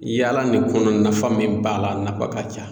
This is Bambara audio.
Yaala nin kɔnɔ nafa min b'a la a nafa ka ca